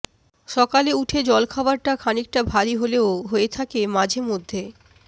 সকালে উঠে জলখাবারটা খানিকটা ভারী হলেও হয়ে থাকে মাঝে মধ্যে